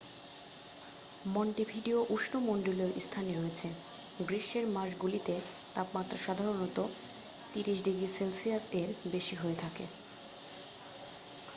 Montevideo উষ্ণমণ্ডলীয় স্থানে রয়েছে; গ্রীষ্মের মাসগুলিতে তাপমাত্রা সাধারণত +30°c এর বেশি হয়ে থাকে।